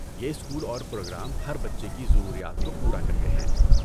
یہ اسکول اور پروگرام ہر بچے کی ضروریات کو پورا کرتے ہیں۔